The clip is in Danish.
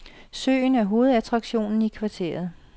Søen er hovedattraktionen i kvarteret.